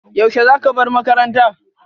Yaushe za ka bar makaranta?